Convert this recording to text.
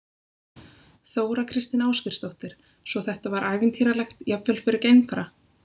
Þóra Kristín Ásgeirsdóttir: Svo þetta var ævintýralegt, jafnvel fyrir geimfara?